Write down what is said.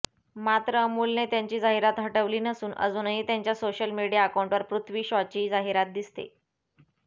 मात्र अमूलने त्यांची जाहिरात हटवली नसून अजूनही त्यांच्या सोशल मीडिया अकाऊंवर पृथ्वी शॉची जाहिरात दिसते